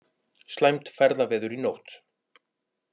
Slæmt ferðaveður í nótt